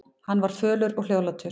Hann var fölur og hljóðlátur.